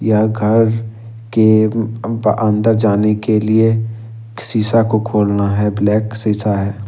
यह घर के अन्दर जाने के लिए शीशा को खोलना है ब्लैक शीशा है।